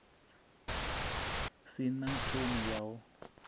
si na ṱhoni ya u